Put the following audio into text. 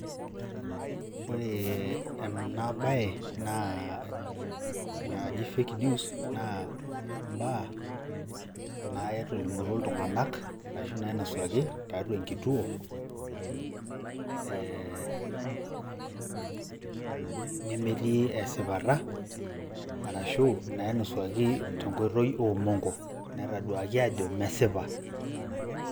Ore ena baye naa naaji fake news naa imbaa natolimutuo iltung'anak arashu nainasuaki tiatua enkituo ee nemetii esipita arashu nainosuaki tenkoitoi omong'o netaduaki ajo mesipa.